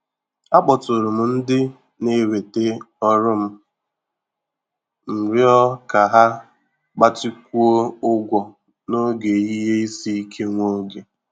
Akpọtụrụ m ndị na-eweta ọrụ m m ịrịọ ka ha gbatịkwuo ụgwọ n'oge ihe isi ike nwa oge.